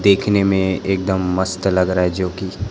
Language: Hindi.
देखने में एक दम मस्त लग रहा है जो की--